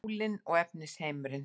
Sálin og efnisheimurinn